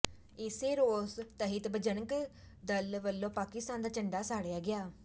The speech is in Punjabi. ਏਸੇ ਰੋਸ ਤਹਿਤ ਬਜਰੰਗ ਦਲ ਵੱਲੋਂ ਪਾਕਿਸਤਾਨ ਦਾ ਝੰਡਾ ਸਾੜਿਆ ਗਿਆ